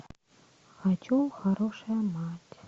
хочу хорошая мать